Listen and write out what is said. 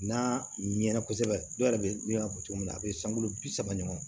N'a ɲɛna kosɛbɛ dɔw yɛrɛ bɛ n'i y'a fɔ cogo min na a be san kulo bi saba ɲɔgɔn